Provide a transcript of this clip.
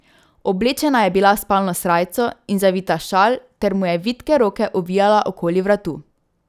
Oblečena je bila v spalno srajco in zavita v šal ter mu je vitke roke ovijala okoli vratu.